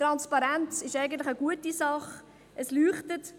Transparenz ist eigentlich eine gute Sache.